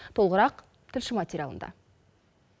толығырақ тілші материалында